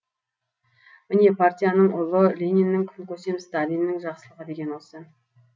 міне партияның ұлы лениннің күн көсем сталиннің жақсылығы деген осы